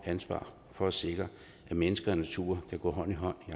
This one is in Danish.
ansvar for at sikre at mennesker og natur kan gå hånd i hånd